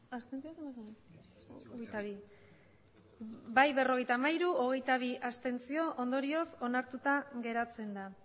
abstentzioak hogeita bi ondorioz onartuta geratzen da